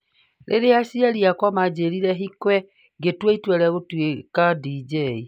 Rĩrĩa Aciari Aakwa Maanjĩrire hikwĩ, ngĩtua itua rĩa gũtuĩka DJ'